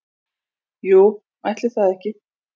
Jú, ætli það ekki